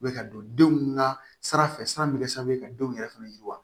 U bɛ ka don denw ka sira fɛ sira bɛ kɛ sababu ye ka denw yɛrɛ fana yiriwa